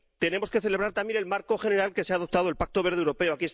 Tenemos que celebrar también el marco general que se ha adoptado el Pacto Verde Europeo